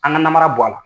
An ka namara bɔ a la